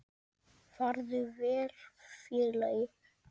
Farðu vel félagi.